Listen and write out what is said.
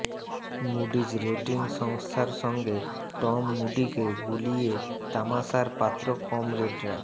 Moody's rating সংস্থার সঙ্গে Tom মুডিকে গুলিয়ে তামাশার পাত্র কমরেডরা